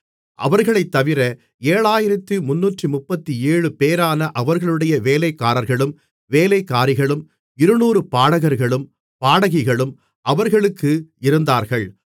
அவர்களைத்தவிர 7337 பேரான அவர்களுடைய வேலைக்காரர்களும் வேலைக்காரிகளும் 200 பாடகர்களும் பாடகிகளும் அவர்களுக்கு இருந்தார்கள்